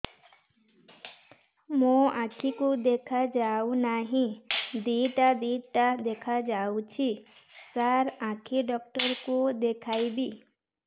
ମୋ ଆଖିକୁ ଦେଖା ଯାଉ ନାହିଁ ଦିଇଟା ଦିଇଟା ଦେଖା ଯାଉଛି ସାର୍ ଆଖି ଡକ୍ଟର କୁ ଦେଖାଇବି